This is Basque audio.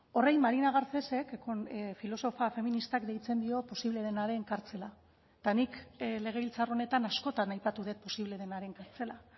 horri marina garcesek filosofa feministak deitzen dio posible denaren kartzela eta nik legebiltzar honetan askotan aipatu dut posible denaren kartzela